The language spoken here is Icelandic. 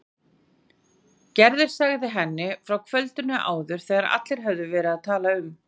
Gerður sagði henni frá kvöldinu áður þegar allir höfðu verið að tala um